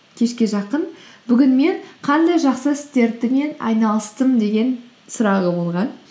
кешке жақын бүгін мен қандай жақсы айналыстым деген сұрағы болған